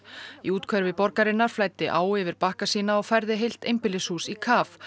í úthverfi borgarinnar flæddi á yfir bakka sína og færði heilt einbýlishús í kaf